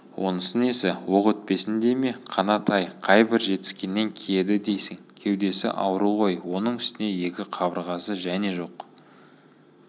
онысы несі оқ өтпесін дей ме қанат-ай қайбір жетіскенінен киеді дейсің кеудесі ауру ғой оның үстіне екі қабырғасы және жоқ